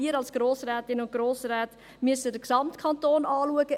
Wir als Grossrätinnen und Grossräte müssen den Gesamtkanton anschauen.